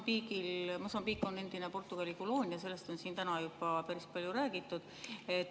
Sellest, et Mosambiik on endine Portugali koloonia, on siin täna juba päris palju räägitud.